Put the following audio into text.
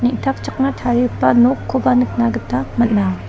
tarigipa nokkoba nikna gita man·a.